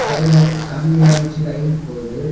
சைடுல கம்பில்லாம் வச்சு லைன் போவுது.